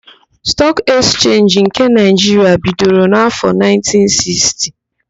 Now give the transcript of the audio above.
Stọọk Ekchenji nke Naịjiria bidoro n'áfọ,1960.